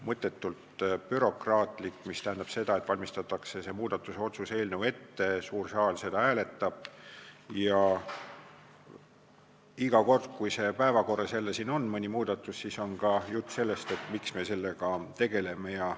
– mõttetult bürokraatlik, mis tähendab seda, et muudatuse otsuse eelnõu valmistatakse ette, suur saal seda hääletab ja iga kord, kui selline muudatus jälle siin päevakorras on, siis on juttu ka sellest, et miks me sellega tegeleme.